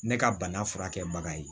Ne ka bana furakɛbaga ye